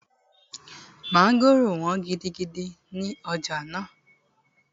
Mọ́ngòrò wọ́n gidigidi ní ọjà náà